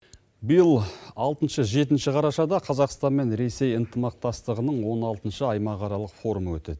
биыл алтыншы жетінші қарашада қазақстан мен ресей ынтымақтастығының он алтыншы аймақ аралық форум өтеді